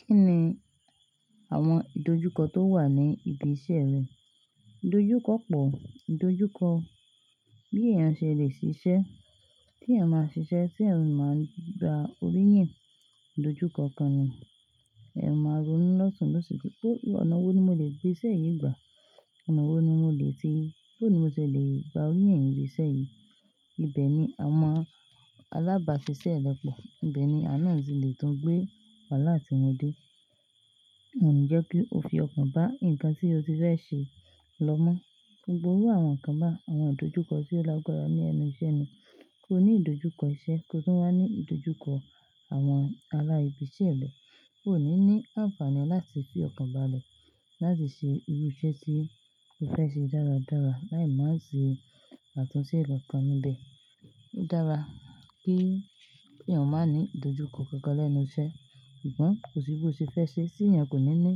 Kí ni àwọn ìdojúkọ tó wà ní ibi iṣẹ́ rẹ? Ìdojúkọ pọ̀, ìdojúkọ bí èèyàn ṣe lè ṣiṣẹ́, tí èèyàn máa ṣiṣẹ́, tí èèyàn máa gba orí yìn, ìdojúkọ kan ni. Ẹ̀ máa ronú lọ́tùn-ún lọ́sẹ̀ tí pé, ọ̀nà wo ni mo lè gbé iṣẹ́ yìí gbà? Ọ̀nà wo ni mo lè ṣe, bó ni mo ṣe lè gba orí yìn ìṣe yìí? Ibẹ̀ ni àwọn alábàáṣiṣẹ́ mi pọ̀. Ibẹ̀ ni àwon na tí lè tún gbé waalá àti wọn dé. Kò ní jẹ́ kí o fi ọkàn bá nǹkan tí o ti fẹ́ ṣe lọ́mọ́. Gbogbo iru àwọn nkan bá àwọn ìdojúkọ tí ó lágbára ní ẹnu iṣẹ́ ni. Kò ní ìdojúkọ iṣẹ́, kò tún wá ní ìdojúkọ àwọn ará ibi iṣẹ́ rẹ, ò ní ní àǹfààní láti fi ọkàn bále láti ṣe irú iṣẹ́ tí o fẹ́ ṣe dáradára, láì má ṣe àtúnṣe kan kan níbẹ̀. Ó dára kí èyàn máa ní ìdojúkọ kankan lẹ́nu iṣẹ́. Sungbọn kò sí bó ti fẹ́ ṣe, tí èyàn kò ní ní